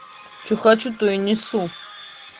что хочу то и несу